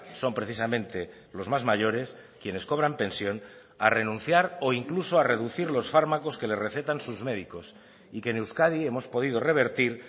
son precisamente los más mayores quienes cobran pensión a renunciar o incluso a reducir los fármacos que le recetan sus médicos y que en euskadi hemos podido revertir